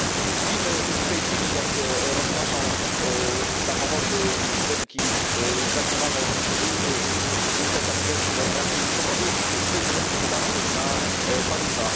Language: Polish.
Widzimy w tej chwili, jak roznoszą samochody i budynki zagniewane żółte kamizelki we Francji z powodu zbyt wysokich podatków na paliwa.